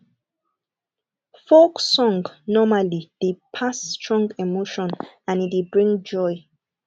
folk song normally dey pass strong emotion and e dey bring joy